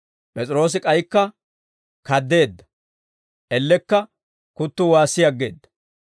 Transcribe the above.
P'es'iroose k'aykka kaddeedda; ellekka kuttuu waassi aggeedda.